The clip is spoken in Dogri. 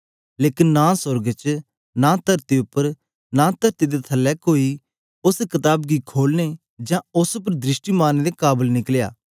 लेकन नां सोर्ग च नां तरती उप्पर नां तरती दे थलै कोई उस्स कताब गी खोलने जां उस्स उपर दृष्टि मारने दे काबल निकलया